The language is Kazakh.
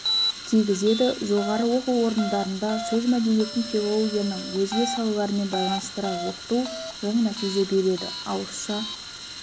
тигізеді жоғары оқу орындарында сөз мәдениетін филологияның өзге салаларымен байланыстыра оқыту оң нәтиже береді ауызша